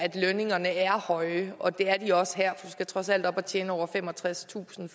lønningerne er høje og det er de også her du skal trods alt op at tjene over femogtredstusind